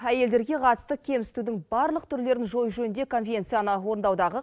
әйелдерге қатысты кемсітудің барлық түрлерін жою жөнінде конвенцияны орындаудағы